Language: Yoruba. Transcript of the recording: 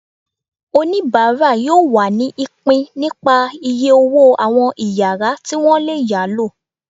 onibara yóò wá ní ipín nípá iyé ọwọ àwọn iyàrá ti wọn lé yalo.